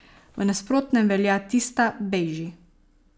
V nasprotnem velja tista, bejži.